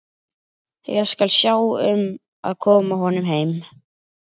Ég skal sjá um að koma honum heim.